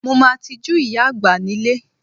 Mo máa tijú ìyá àgbà nílé